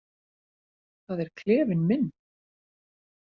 Það er klefinn minn.